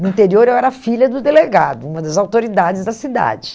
No interior eu era filha do delegado, uma das autoridades da cidade.